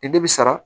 Ni de bi sara